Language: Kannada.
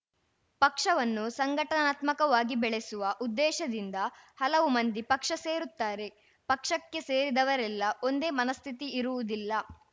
ಪಕ್ಷವನ್ನು ಸಂಘಟನಾತ್ಮಕವಾಗಿ ಬೆಳೆಸುವ ಉದ್ದೇಶದಿಂದ ಹಲವು ಮಂದಿ ಪಕ್ಷ ಸೇರುತ್ತಾರೆ ಪಕ್ಷಕ್ಕೆ ಸೇರಿದವರೆಲ್ಲ ಒಂದೇ ಮನಸ್ಥಿತಿಇರುವುದಿಲ್ಲ